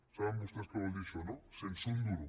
saben vostès què vol dir això no sense un duro